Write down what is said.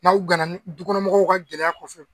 N'aw ganani dukɔnɔmɔgɔw ka gɛlɛya kɔfɛ